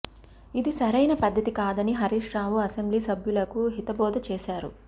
ఇది సరైన పద్దతి కాదని హరీష్ రావు అసెంబ్లీ సభ్యులకు హిత బోధ చేశారు